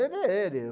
Era ele.